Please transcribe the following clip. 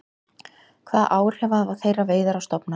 Hvaða áhrif hafa þeirra veiðar á stofnana?